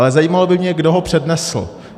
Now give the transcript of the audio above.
Ale zajímalo by mě, kdo ho přednesl.